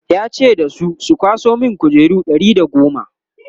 ya ce da su 'ku kwaso min kujeru Ɗari da goma!"